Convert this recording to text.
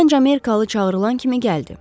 Gənc Amerikalı çağırılan kimi gəldi.